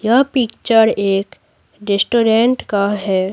यह पिक्चर एक रेस्टोरेंट का है।